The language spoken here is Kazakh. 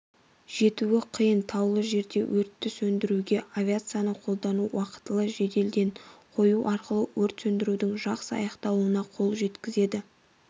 жетуі қиын таулы жерде өртті сөндіруге авиацияны қолдану уақтылы жедел ден қою арқылы өрт сөндірудің жақсы аяқталуына қол жеткізеді